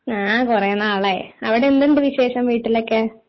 ആ കുറെ നാളായി അവിടെ എന്തുണ്ട് വിശേഷം വീട്ടിലൊക്കെ